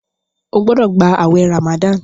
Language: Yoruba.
o gbódò gbà awé ramadan!